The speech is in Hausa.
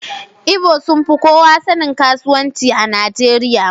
Igbo sun fi kowa sanin kasuwanci a Najeriya.